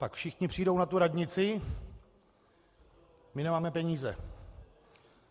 Pak všichni přijdou na tu radnici: My nemáme peníze.